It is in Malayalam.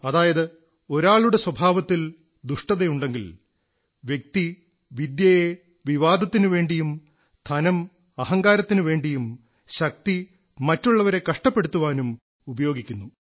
അതായത് ഒരാളുടെ സ്വഭാവത്തിൽ ദുഷ്ടതയുണ്ടെങ്കിൽ വ്യക്തി വിദ്യയെ വിവാദത്തിനുവേണ്ടിയും ധനം അഹങ്കാരത്തിനുവേണ്ടിയും ശക്തി മറ്റുള്ളവരെ കഷ്ടപ്പെടുത്താനും ഉപയോഗിക്കുന്നു